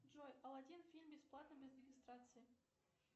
джой алладин фильм бесплатно без регистрации